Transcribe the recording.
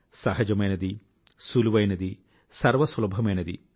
సహజమైనది సులువైనది సర్వసులభమైనది